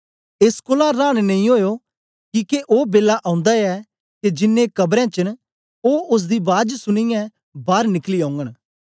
एस कोलां रांन नेई ओयो किके ओ बेला ओंदा ऐ के जिन्नें कबरें बेच न ओ ओसदी बाज सुनीयै बार निकली औगन